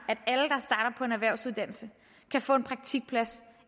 at på en erhvervsuddannelse kan få en praktikplads